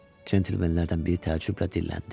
Centlemenlərdən biri təəccüblə dilləndi.